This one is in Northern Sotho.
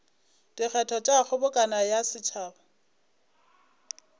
dikgetho tša kgobokano ya setšhaba